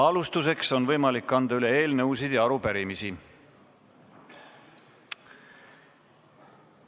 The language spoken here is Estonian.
Alustuseks on võimalik anda üle eelnõusid ja arupärimisi.